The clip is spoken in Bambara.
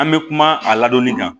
An bɛ kuma a ladɔnni kan